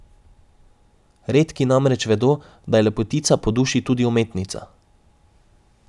Redki namreč vedo, da je lepotica po duši tudi umetnica.